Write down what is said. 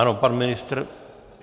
Ano, pan ministr.